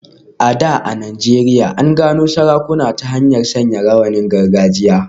A da a Najeriya, an gano sarakuna ta hanyar sanya rawanin gargajiya.